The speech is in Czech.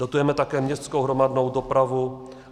Dotujeme také městskou hromadnou dopravu.